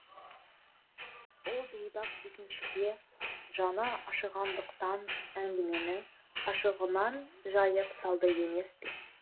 ол бейбақ дүкеншіге жаны ашығандықтан әңгімені ашығынан жайып салды емес пе